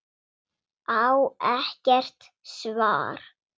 Á ekkert svar.